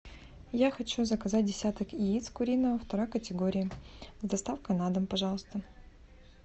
я хочу заказать десяток яиц куриных второй категории с доставкой на дом пожалуйста